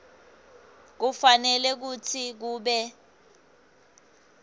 kufanele kutsi kube